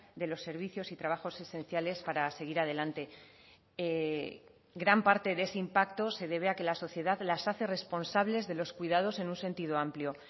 de los servicios y trabajos esenciales para seguir adelante gran parte de ese impacto se debe a que la sociedad las hace responsables de los cuidados en un sentido amplio